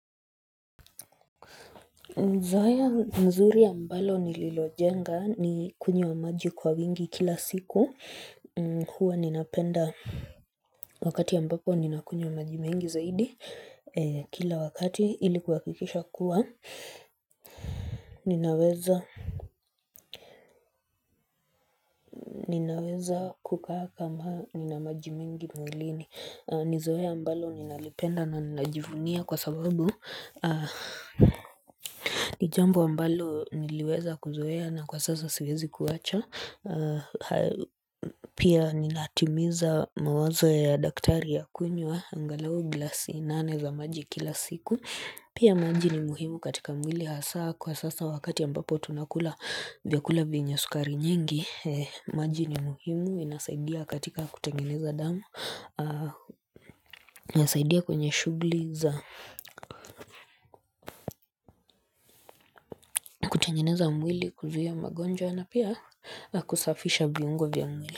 Zoea mzuri ambalo nililojenga ni kunywa maji kwa wingi kila siku huwa ninapenda wakati ambapo ninakunywa maji mengi zaidi Kila wakati ilikuwa kuhakikisha kuwa ninaweza kukaa kama nina maji mengi mwilini ni zoea ambalo ninalipenda na ninajivunia kwa sababu ni jambo ambalo niliweza kuzoea na kwa sasa siwezi kuacha Pia ninatimiza mawazo ya daktari ya kunywa angalao gilasi nane za maji kila siku Pia maji ni muhimu katika mwili hasaa Kwa sasa wakati ambapo tunakula vyakula vienye sukari nyingi maji ni muhimu inasaidia katika kutengeneza damu Nasaidia kwenye shughuli za hutengeneza mwili kuzia magonjwa na pia na kusafisha viungo vya mwili.